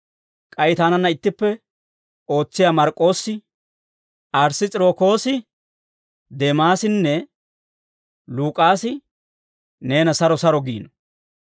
K'ay taananna ittippe ootsiyaa Mark'k'oossi, Ariss's'irokoosi, Deemaasinne Luk'aasi neena saro saro giino.